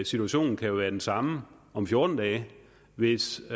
situationen kan jo være den samme om fjorten dage hvis